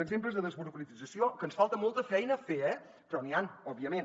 exemples de desburocratització que ens falta molta feina a fer eh però n’hi han òbviament